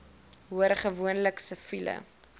hoor gewoonlik siviele